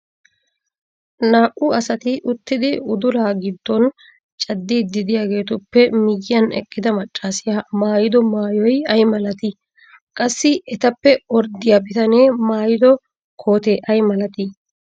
naa''u asati uttidi udulaa giddon cadiidi diyaageetuppe miyiyan eqqida macaassiya maayido maayoy ay malatii? qassi etappe orddiya bitanee maayido kootee ay malatii?